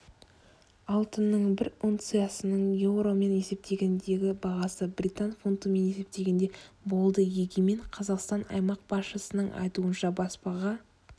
алтынның бір унциясының еуромен есептегендегі бағасы британ фунтымен есептегенде болды егемен қазақстан аймақ басшысының айтуынша баспаға